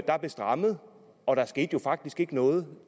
der blev strammet og der skete jo faktisk ikke noget